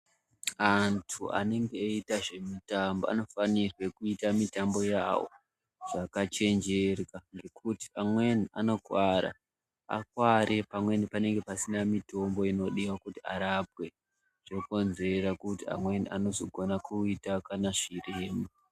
Antu anenge eida nezvekutamba anofanirwe kuita mitambo yavo zvakachenjera kuti amweni anokuvara, akuvara pamweni pacho panenge pasina mitombo inodiwa kuti arapwe zvinokonzera kuti amweni anozokona kuita kana zvirema.